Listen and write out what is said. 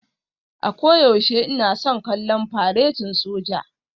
A koyaushe ina son kallon faretin soja